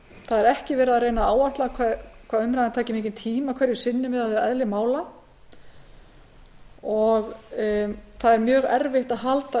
það er ekki verið að reyna að áætla hvað umræðan taki mikinn tíma hverju sinni miðað við eðli mála og það er mjög erfitt að halda